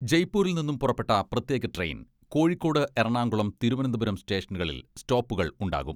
ജയ്പൂരിൽ നിന്നും പുറപ്പെട്ട പ്രത്യേക ട്രെയിൻ കോഴിക്കോട്, എറണാകുളം, തിരുവനന്തപുരം സ്റ്റേഷനുകളിൽ സ്റ്റോപ്പുകൾ ഉണ്ടാകും.